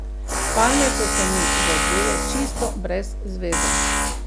Palme so se mi zazdele čisto brez zveze.